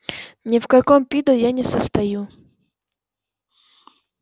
ни в каком пидо я не состою